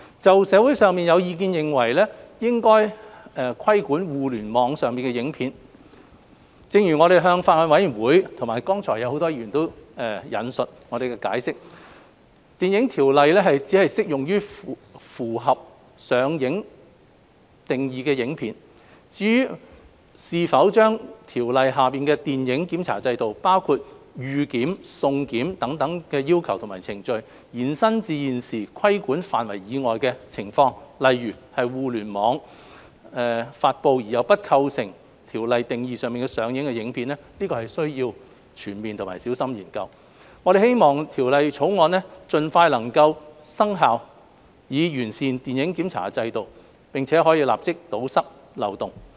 就社會上有意見認為應規管互聯網上的影片，但正如我們向法案委員會解釋，剛才很多議員也有引述，《條例》只適用於符合"上映"定義的影片。至於是否將《條例》下的電影檢查制度，包括"預檢"、"送檢"等要求及程序，延伸至現時規管範圍以外的情況，例如是透過互聯網發布而又不構成《條例》定義的"上映"的影片，我們需要全面和小心研究。我們希望《條例草案》能夠盡快生效以完善電影檢查制度，並且立即堵塞漏洞。